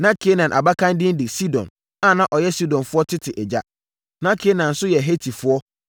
Na Kanaan abakan din de Sidon a na ɔyɛ Sidonfoɔ tete agya. Na Kanaan nso yɛ Hetifoɔ,